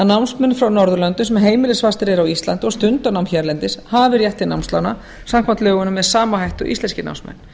námsmenn frá norðurlöndum sem heimilisfastir eru á íslandi og stunda nám hérlendis hafi rétt til námslána samkvæmt lögunum með sama hætti og íslenskir námsmenn